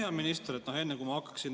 Hea minister!